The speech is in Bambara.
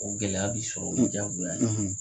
O gɛlɛya bi sɔrɔ o ye jagoya ye.